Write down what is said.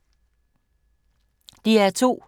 DR2